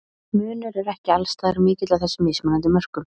Munur er ekki alls staðar mikill á þessum mismunandi mörkum.